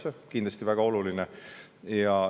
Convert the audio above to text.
See on kindlasti väga oluline.